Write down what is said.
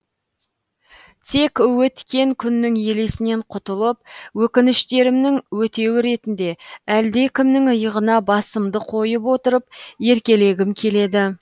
тек өткен күннің елесінен құтылып өкініштерімнің өтеуі ретінде әлдекімнің иығына басымды қойып отырып еркелегім келеді